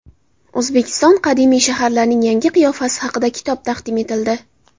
O‘zbekiston qadimiy shaharlarining yangi qiyofasi haqida kitob taqdim etildi.